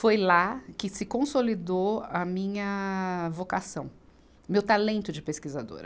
Foi lá que se consolidou a minha vocação, meu talento de pesquisadora.